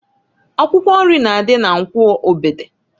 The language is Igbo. Akwụkwọ nri na adị na Nkwọ Ogbede.